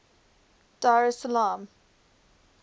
dar es salaam